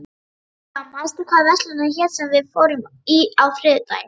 Gæfa, manstu hvað verslunin hét sem við fórum í á þriðjudaginn?